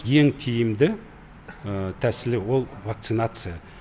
ең тиімді тәсілі ол вакцинация